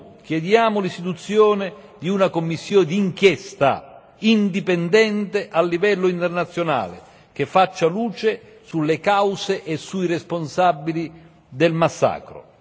Uno chiediamo l'istituzione di una commissione d'inchiesta indipendente a livello internazionale, che faccia luce sulle cause e sui responsabili del massacro.